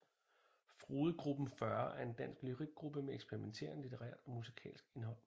Frodegruppen40 er en dansk lyrikgruppe med eksperimenterende litterært og musikalsk indhold